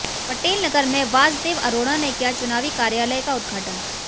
पटेल नगर में वासदेव अरोड़ा ने किया चुनावी कार्यालय का उद्धघाटन